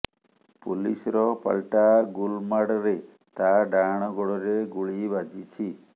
ପୋଲିସର ପାଲଟା ଗୁଲମାଡରେ ତା ଡାହାଣ ଗୋଡରେ ଗୁଳି ବାଜିଛି